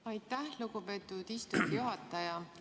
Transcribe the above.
Aitäh, lugupeetud istungi juhataja!